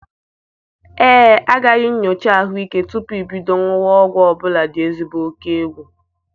Ee, agaghị nyocha ahụike tupu ibido ṅuwa ọgwụ ọ bụla dị ezigbo okegwu.